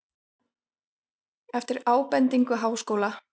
Eftir ábendingu Háskóla